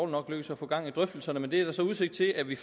nok lykkedes at få gang i drøftelserne men det er der så udsigt til at vi